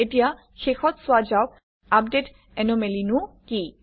এতিয়া শেষত চোৱা যাওক আপডেট এনোমেলিনো কি